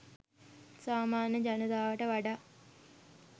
සාමාන්‍ය ජනතාවට වඩා